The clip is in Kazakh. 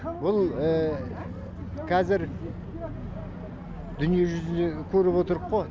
бұл қазір дүние жүзін көріп отырққо